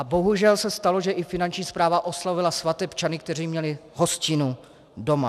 A bohužel se stalo, že i Finanční správa oslovila svatebčany, kteří měli hostinu doma.